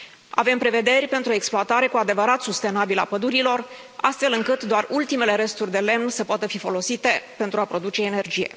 Avem prevederi pentru o exploatare cu adevărat sustenabilă a pădurilor, astfel încât doar ultimele resturi de lemn să poată fi folosite pentru a produce energie.